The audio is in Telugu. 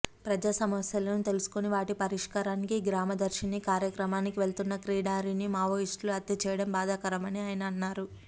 ప్రజాసమస్యలను తెలుసుకుని వాటి పరిష్కారానికి గ్రామదర్శిని కార్యక్రమానికి వెళుతున్న కిడారిని మావోయిస్టులు హత్య చేయడం బాధాకరమని ఆయన అన్నారు